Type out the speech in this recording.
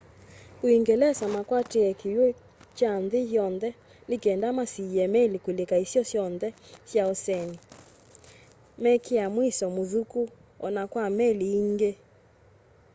uungelesa makwatie kiwu kya nthi yonthe ni kenda masiîe meli kulika isio syonthe sya oseni mekia muisyo muthuku o na kwa meli iingî